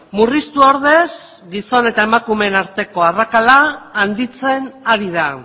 murriztu ordez gizon eta emakumeen arteko arrakala handitzen ari da